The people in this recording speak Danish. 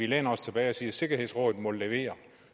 læner os tilbage og siger sikkerhedsrådet må levere